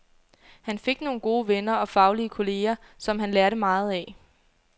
Han fik nogle gode venner og faglige kolleger, som han lærte meget af.